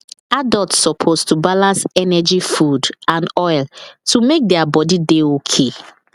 adults suppose to balance energy food and oil to make their body dey okay